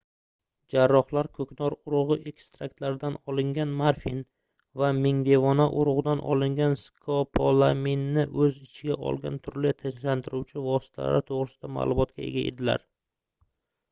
jarrohlar koʻknor urugʻi ekstraktlaridan olingan morfin va mingdevona urugʻidan olingan skopolaminni oʻz ichiga olgan turli tinchlantiruvchi vositalar toʻgʻrisida maʼlumotga ega edilar